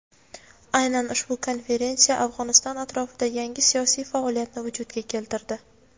Aynan ushbu konferensiya Afg‘oniston atrofida yangi siyosiy faoliyatni vujudga keltirdi.